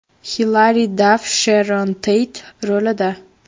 Xilari Daff Sheron Teyt rolida.